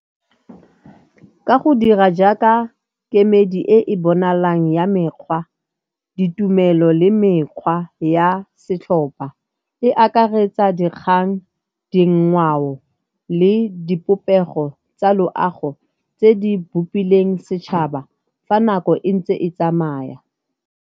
Ka go dira jaaka kemedi e e bonalang ya mekgwa, ditumelo le mekgwa ya setlhopha e akaretsa dikgang, dingwao le dipopego tsa loago tse di bupileng setšhaba fa nako e ntse e tsamaya.